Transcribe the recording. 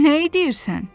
Nəyi deyirsən?